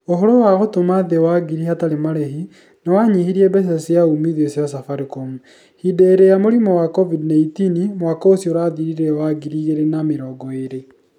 Ũhoro wa gũtũma thĩĩ wa ngiri hatarĩ marehi nĩ wa nyihirie mbeca cia uumithio cia safaricom . Hĩndĩ ĩria ya mũrimũ wa COVID-19 mwaka ũcio ũrathirire wa 2020.